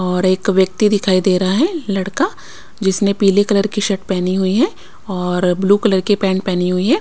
और एक व्यक्ति दिखाई दे रहा है लड़का जिसने पीली कलर की शर्ट पहनी हुई है और ब्लू कलर की पैंट पहनी हुई है।